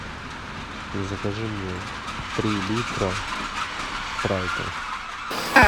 закажи мне три литра спрайта